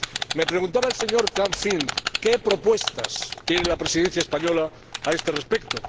Me preguntaba el señor Canfin qué propuestas tiene la Presidencia española a este respecto.